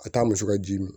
A taa muso ka ji min